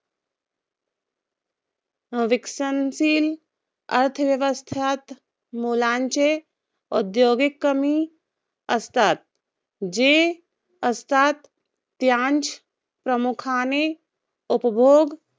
विकसनशील अर्थव्यवस्थात मोलांचे, औद्योगीक कमी असतात. जे असतात त्यांस प्रामुख्याने उपभोग